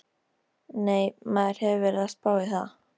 Nei, maður hefur verið að spá í það.